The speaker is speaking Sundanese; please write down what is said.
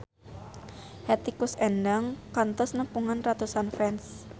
Hetty Koes Endang kantos nepungan ratusan fans